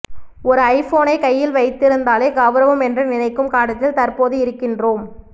ஒரு ஐபோனை கையில் வைத்திருந்தாலே கெளரவம் என்று நினைக்கும் காலத்தில் தற்போது இருக்கின்றோம்